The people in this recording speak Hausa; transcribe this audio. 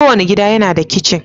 Kowane gida yana da kicin.